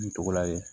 N tɔgɔla ye